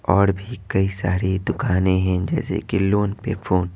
और भी कई सारी दुकानें हैं जैसे कि लोन पे फोन --